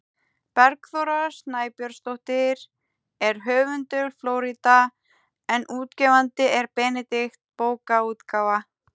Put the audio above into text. Bergþóra Snæbjörnsdóttir er höfundur „Flórída“ en útgefandi er Benedikt bókaútgáfa.